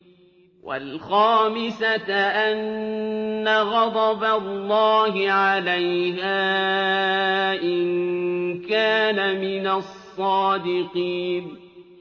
وَالْخَامِسَةَ أَنَّ غَضَبَ اللَّهِ عَلَيْهَا إِن كَانَ مِنَ الصَّادِقِينَ